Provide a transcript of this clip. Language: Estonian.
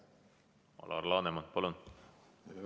Alar Laneman, palun!